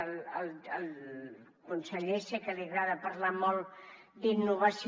al conseller sé que li agrada parlar molt d’innovació